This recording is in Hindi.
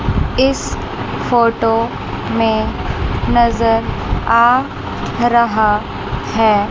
इस फोटो में नजर आ रहा है।